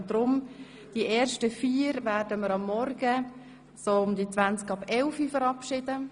Wir werden somit die ersten vier morgen gegen 10.20 Uhr verabschieden.